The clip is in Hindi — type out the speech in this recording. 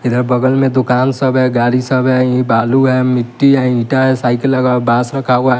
इधर बगल में दुकान सब है गाड़ी सब है इ बालू है मिट्टी है ईंटा है साइकिल लगा हुआ बांस रखा हुआ --